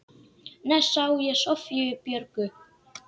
Næst sá ég Soffíu Björgu.